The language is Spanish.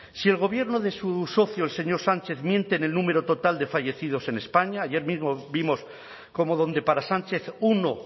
si el gobierno de su socio el señor sánchez miente en el número total de fallecidos en españa ayer mismo vimos como donde para sanchez uno